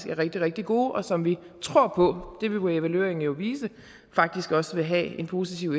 er rigtig rigtig gode og som vi tror på det vil evalueringen jo vise faktisk også vil have en positiv